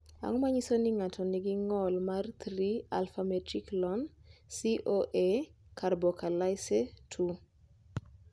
Ang’o ma nyiso ni ng’ato nigi ng’ol mar 3 alfa metilkrotonil CoA karboksilase 2?